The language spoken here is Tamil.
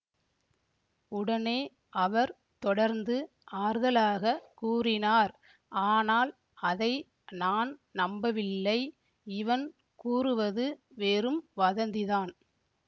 உடனே அவர் தொடர்ந்து ஆறுதலாகக் கூறினார் ஆனால் அதை நான் நம்பவில்லை இவன் கூறுவது வெறும் வதந்திதான்